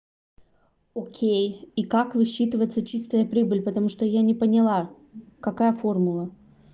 окей и как высчитывается чистая прибыль потому что я не поняла какая формула